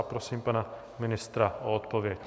A prosím pana ministra o odpověď.